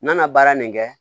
N mana baara nin kɛ